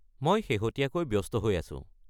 মই শেহতীয়াকৈ ব্যস্ত হৈ আছোঁ।